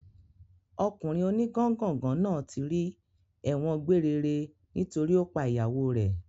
Ọkùnrin o ní gángàngàn náà ti rì ẹ̀wọ̀n gbére re nítorí ó pa ìyàwó rẹ